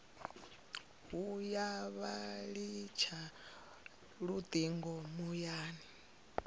vhuya vha litsha lutingo muyani